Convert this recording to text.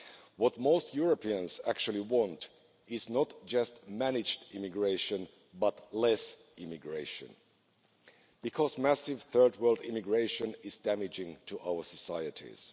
What most Europeans actually want is not just managed immigration but less immigration, because massive third world immigration is damaging to our societies.